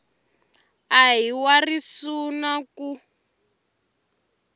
a hi wa risuna ku